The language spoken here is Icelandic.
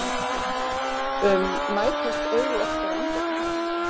um mætast augu okkar andartak.